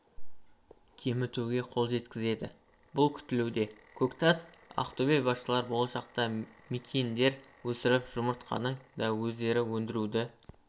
кемітуге қол жеткізеді деп күтілуде көктас ақтөбе басшылары болашақта мекиендер өсіріп жұмыртқаны да өздері өндіруді